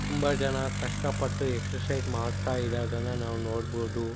ತುಂಬ ಜನ ಕಷ್ಟ ಪಟ್ಟು ಎಕ್ಸರ್ಸೈಜ್ ಮಾಡ್ತಾ ಇರದನ್ನ ನಾವು ನೋಡ್ಬೋದು.